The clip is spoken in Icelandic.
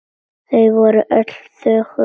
Þau voru öll þögul.